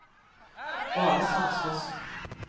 Valestrandsfossen